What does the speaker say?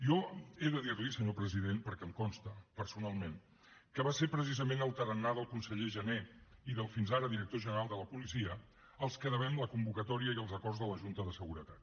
jo he de dir li senyor president perquè em consta personalment que va ser precisament al tarannà del conseller jané i del fins ara director general de la policia als que devem la convocatòria i els acords de la junta de seguretat